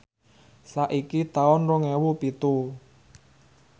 saiki taun rong ewu pitu